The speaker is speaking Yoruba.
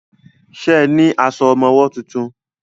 Ṣe ní aṣọ ọmọwọ́ tuntun?